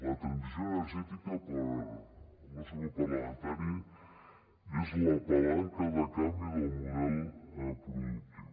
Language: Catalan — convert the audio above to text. la transició energètica pel nostre grup parlamentari és la palanca de canvi del model productiu